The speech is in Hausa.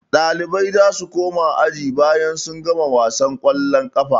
Ɗalibai za su koma aji bayan sun gama wasan ƙwallon ƙafa.